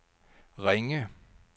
Ringe